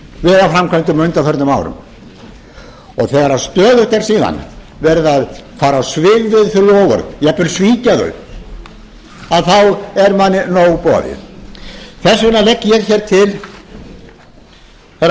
vegaframkvæmdum á undanförnum árum þegar stöðugt er síðan farið á svig við þau loforð þau jafnvel svikin er manni nóg boðið þess vegna legg ég